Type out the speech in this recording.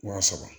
Wa saba